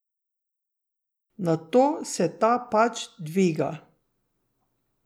Nato se ta pač dviga.